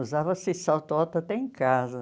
Usava-se salto alto até em casa.